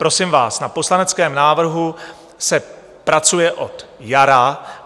Prosím vás, na poslaneckém návrhu se pracuje od jara.